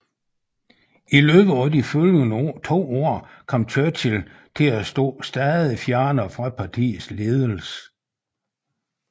I løbet af de følgende to år kom Churchill til stå stadig fjernere fra partiets ledelse